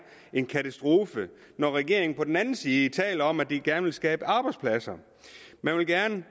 en katastrofe når regeringen på den anden side taler om at de gerne vil skabe arbejdspladser man vil gerne